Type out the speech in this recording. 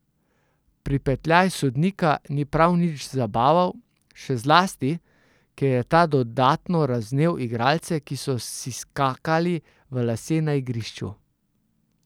Pripetljaj sodnika ni prav nič zabaval, še zlasti, ker je ta dodatno razvnel igralce, ki so si skakali v lase na igrišču.